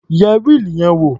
Yẹ wíìlì yẹn wò.